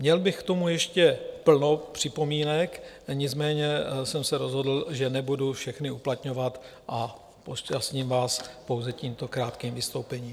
Měl bych k tomu ještě plno připomínek, nicméně jsem se rozhodl, že nebudu všechny uplatňovat, a obšťastním vás pouze tímto krátkým vystoupením.